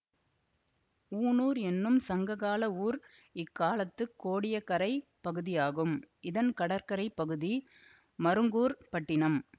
ஊணூர் என்னும் சங்ககால ஊர் இக்காலத்துக் கோடியக்கரைப் பகுதியாகும் இதன் கடற்கரை பகுதி மருங்கூர்ப் பட்டினம்